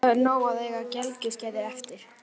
Það er nóg að eiga gelgjuskeiðið eftir.